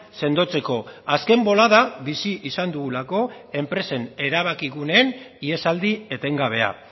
sendotzeko azken bolada bizi izan dugulako enpresen erabaki guneen ihesaldi etengabea